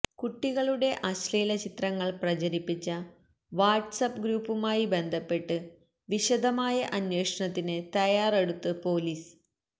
കുട്ടികളുടെ അശ്ലീല ചിത്രങ്ങൾ പ്രചരിപ്പിച്ച വാട്സ് ആപ്പ് ഗ്രൂപ്പുമായി ബന്ധപ്പെട്ട് വിശദമായ അന്വേഷണത്തിന് തയ്യാറെടുത്ത് പൊലീസ്